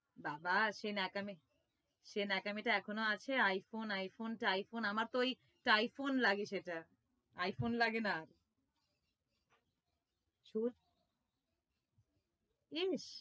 বাবা সেই নেক্যামি টা সেই ন্যাকামি টা এখনও আছে I-phone I-phone টাইফুন আমার তো ওই টাইফুন লাগে সেটা I-phone লাগে না। সত্যি ইস